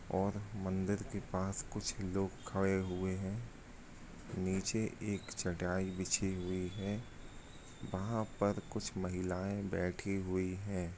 और मंदिर के पास कुछ लोग खड़े हुए हे निचे एक चटाई बिछरी हुई हे वहा पर कुछ महिलायें बैठी हुए हे |